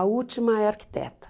A última é arquiteta.